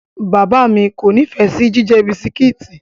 Bàbáà mi kò nífẹ̀ẹ́ sí jíjẹ bisikíìtì.